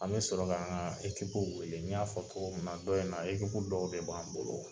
An bɛ sɔrɔ ka an ka ekipu wele n y'a fɔ togomin na dɔw in na ekipu dɔw be bɔ an bolo